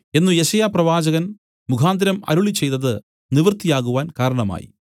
എന്നു യെശയ്യാപ്രവാചകൻ മുഖാന്തരം അരുളിച്ചെയ്തത് നിവൃത്തിയാകുവാൻ കാരണമായി